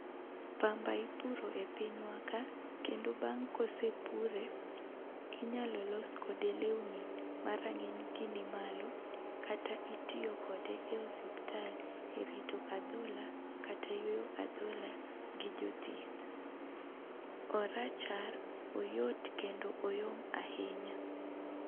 Pamba ipuro e pinywa ka, kendo bang' kosepure inyalo los kode lewni ma rang'iny gi nimalo ,kata itiyo kode e osiptal e rito adhola kata yweyo adhola gi jothieth. Orachar, oyot kendo oyom ahinya.